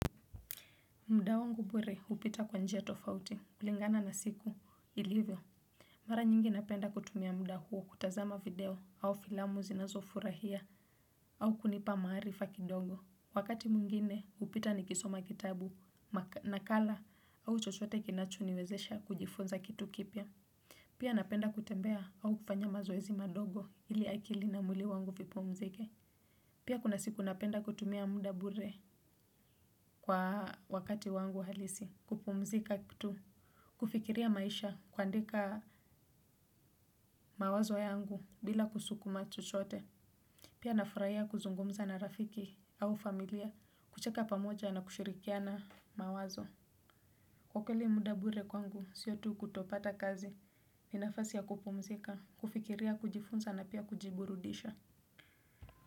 Muda wangu bure hupita kwa njia tofauti kulingana na siku ilivyo. Mara nyingi napenda kutumia muda huo kutazama video au filamu zinazofurahia au kunipa maarifa kidogo. Wakati mwingine hupita nikisoma kitabu, nakala au chochote kinachoniwezesha kujifunza kitu kipya. Pia napenda kutembea au kufanya mazoezi madogo ili akili na mwili wangu vipumzike. Pia kuna siku napenda kutumia muda bure kwa wakati wangu halisi. Kupumzika tu, kufikiria maisha kuandika mawazo yangu bila kusukuma chochote, pia nafurahia kuzungumza na rafiki au familia, kucheka pamoja na kushirikiana mawazo. Kwa kweli muda bure kwangu siyo tu kutopata kazi, ni nafasi ya kupumzika, kufikiria kujifunza na pia kujiburudisha.